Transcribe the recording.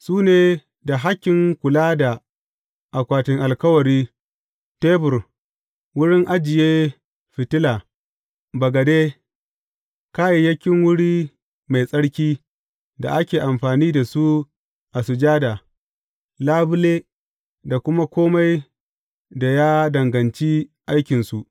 Su ne da hakkin kula da akwatin alkawari, tebur, wurin ajiye fitila, bagade, kayayyakin wuri mai tsarki da ake amfani da su a sujada, labule, da kuma kome da ya danganci aikinsu.